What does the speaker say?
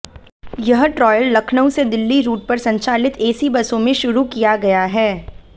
यह ट्रायल लखनऊ से दिल्ली रूट पर संचालित एसी बसों में शुरू किया गया है